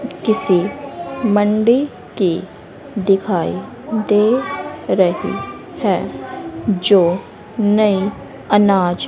किसी मंडी की दिखाई दे रही है जो नयी अनाज--